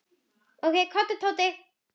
Komdu, Tóti.